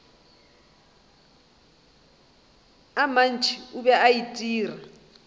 mantši o be a itira